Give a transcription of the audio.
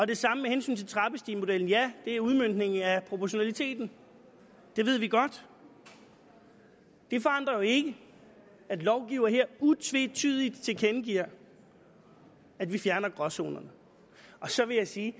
det samme med hensyn til trappestigemodellen ja det er udmøntningen af proportionaliteten det ved vi godt det forandrer jo ikke at lovgiver her utvetydigt tilkendegiver at vi fjerner gråzonerne så vil jeg sige